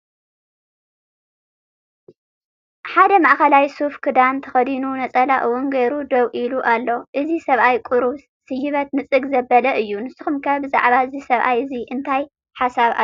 ሓደ ማአኸላይ ሱፍ ክደን ተኸዲኑ ነፀላ ውን ገይሩ ደው ኢሉ ኣሎ፡፡ እዚ ሰብኣይ ቁርብ ስይበት ንፅግ ዘበለ እዩ፡፡ ንስኹም ከ ብዛዕባ እዚ ሰብኣይ እዚ እንታይ ሓሳብ ኣለኩም?